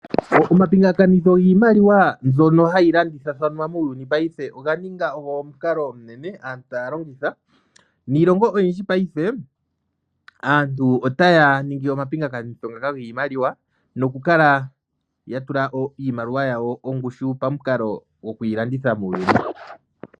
Omapingakanitho giimaliwa mbyoka hayi landithathanwa muuyuni paife oga ninga mukalo omunene aantu taya longitha, niilongo oyindji paife aantu otaya ningi omakingakanitho ngaka giimaliwa no kukala ya tula iimaliwa yawo ongushu pamukalo goku yi landitha muuyuni.